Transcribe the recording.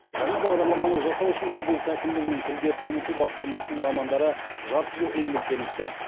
жаңа бағадарламаны жасау үшін облыс әкімдігінің тілдерді дамыту басқармасының мамандары жарты жыл еңбектеніпті